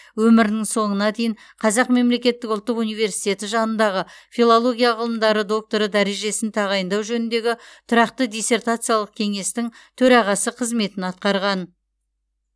өмірінің соңына дейін қазақ мемлекеттік ұлттық университеті жанындағы филология ғылымдары докторы дәрежесін тағайындау жөніндегі тұрақты диссертациялық кеңестің төрағасы қызметін атқарған